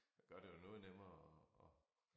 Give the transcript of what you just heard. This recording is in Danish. Der gør det jo noget nemmere at at